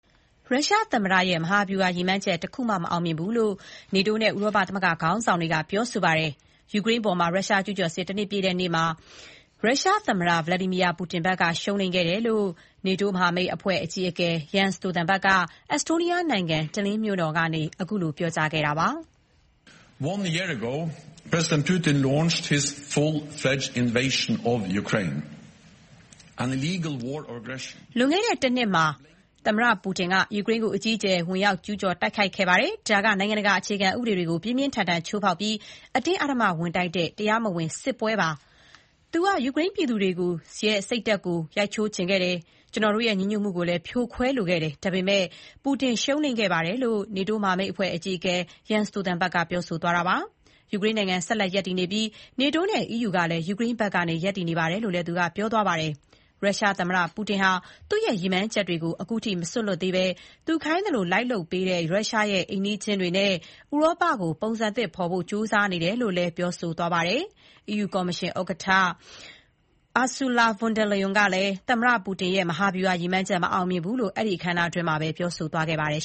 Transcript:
ရုရှားသမ္မတရဲ့ မဟာဗျုဟာရည်မှန်းချက် တခုမှ မအောင်မြင်ဘူးလို့ နေတိုးနဲ့ ဥရောပသမဂ္ဂ ခေါင်းဆောင်တွေက ပြောလိုက်ကြပါတယ်။ ယူကရိန်းအပေါ် ရုရှားကျူးကျော်စစ် ၁ နှစ်ပြည့်တဲ့ ဒီနေ့မှာ ရုရှားသမ္မတ Vladimir Putin ဘက်က ရှုံးနိမ့်ခဲ့တယ်လို့ NATO အဖွဲ့ အကြီးအကဲ Jens Stoltenberg က အက်စတိုးနီးယားနိုင်ငံ Tallinn မြို့တော်ကနေ ခုလိုပြောကြားခဲ့ပါတယ်။ “လွန်ခဲ့တဲ့ တနှစ်က သမ္မတ Putin အနေနဲ့ ယူကရိန်းကို အကြီးအကျယ် ဝင်ကျုးကျော်တိုက်ခိုက်ခဲ့တယ်။ ဒါက နိုင်ငံတကာ အခြေခံဥပဒေတွေကို ပြင်းပြင်းထန်ထန် ချိုးဖောက်ပြီး အတင်းအဓ္ဓမ ဝင်တိုက်တဲ့ တရားမဝင် စစ်ပွဲပါ။ သူက ယူကရိန်းပြည်သူတွေရဲ့ စိတ်ဓာတ်ကို ရိုက်ချိုးချင်ခဲ့တယ်၊ ကျွန်တော်တို့ရဲ့ ညီညွတ်မှုကိုလည်း ဖြိုခွဲလိုခဲ့တယ်။ ဒါပေမဲ့ Putin ရှုံးနိမ့်ခဲ့ပါတယ်လို့ NATO အဖွဲ့အကြီးအကဲ Stoltenberg ကပြောကြားခဲ့တာဖြစ်ပါတယ်။ ယူကရိန်းနိုင်ငံ ဆက်လက်ရပ်တည်နေပြီး NATO နဲ့ EU ကလည်း ယူကရိန်းဘက်က ရပ်တည်နေပါတယ်လို့လည်း သူက ပြောကြားခဲ့ပါတယ်။ ရုရှားသမ္မတ Putin ဟာသူ့ရဲ့ ရည်မှန်းချက်တွေကို ခုထိ မစွန့်လွှတ်သေးဘဲ သူခိုင်းသလိုလိုက်လုပ်ပေးတဲ့ ရုရှားအိမ်နီးချင်းတွေနဲ့ ဥရောပကို ပုံစံသစ်ဖော်ဖို့ ကြိုးစားနေတယ်လို့လည်း သူက ပြောကြားခဲ့ပါတယ်။ EU ကော်မရှင် ဥက္ကဋ္ဌ Ursula Von Der Leyen ကလည်း သမ္မတ Putin ရဲ့ မဟာဗျုဟာရည်မှန်းချက် မအောင်မြင်ခဲ့ဘူးလို့ အဲဒီအခမ်းအနားမှာပဲ ပြောကြားခဲ့ပါတယ်